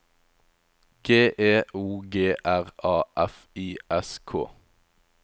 G E O G R A F I S K